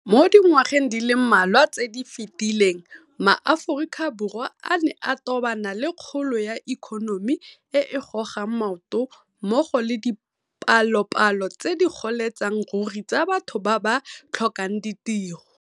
Mo dingwageng di le mmalwa tse di fetileng ma Aforika Borwa a ne a tobana le kgolo ya ikonomi e e gogang maoto mmogo le dipalopalo tse di goletseng ruri tsa batho ba ba tlhokang ditiro.